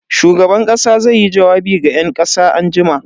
Shugaban kasa zaiyi jawabi ga yan kasa anjima.